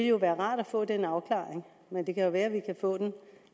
jo være rart at få den afklaring men det kan være at vi kan få den